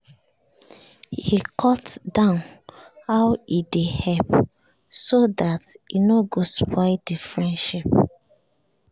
he cut down how he dey help so that he no go spoil the friendship